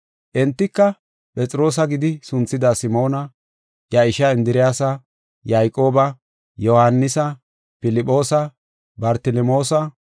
Entika, Phexroosa gidi sunthida Simoona, iya ishaa Indiriyasa, Yayqooba, Yohaanisa, Filphoosa, Bartelemoosa,